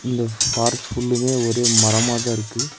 இந்த ஃபாரஸ்ட் ஃபுல்லுமே ஒரே மரமா தா இருக்கு.